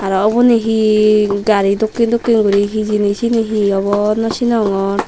aro uboni hi gari dokken dokken guri hi hijeni siyeni hi obo naw sinongor.